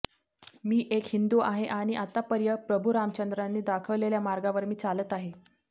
मी एक हिंदू आहे आणि आतापर्यं प्रभू रामचंद्रांनी दाखवलेल्या मार्गावर मी चालत आहे